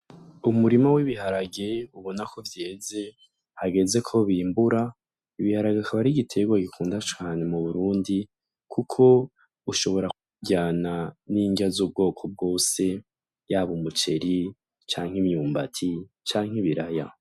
Umurimo w'ibiharage ubona ko vyeze hageze ko bimbura ibiharage akaba ari igitega gikunda cane mu burundi, kuko ushobora kkuryana n'ingya z'ubwoko bwose yabo umuceri canke imyumbati canke ibiraya.